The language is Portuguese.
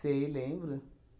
Sei, lembro.